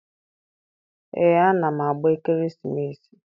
Ee, ana m agba ekeresimesi.